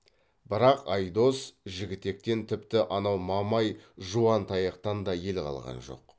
бірақ айдос жігітектен тіпті анау мамай жуантаяқтан да ел қалған жоқ